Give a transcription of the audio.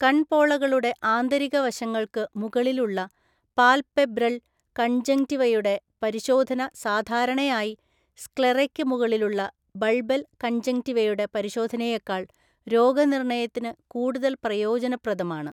കൺപോളകളുടെ ആന്തരിക വശങ്ങൾക്ക് മുകളിലുള്ള പാൽപെബ്രൽ കൺജങ്ക്റ്റിവയുടെ പരിശോധന സാധാരണയായി സ്ക്ലെറയ്ക്ക് മുകളിലുള്ള ബൾബൽ കൺജങ്ക്റ്റിവയുടെ പരിശോധനയേക്കാൾ രോഗനിർണയതിന് കൂടുതൽ പ്രയോഗനപ്രദമാണ്.